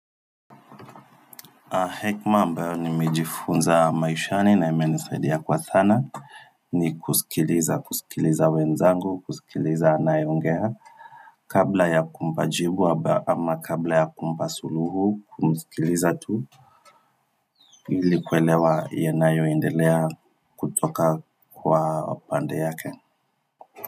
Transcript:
Hekima ambayo nimejifunza maishani na imenisaidia kwa sana ni kusikiliza, kusikiliza wenzangu, kusikiliza anayongea kabla ya kumpa jibu ama kabla ya kumpa suluhu kumsikiliza tu ili kuelewa yanayo endelea kutoka kwa pande yake.